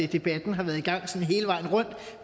debatten har været i gang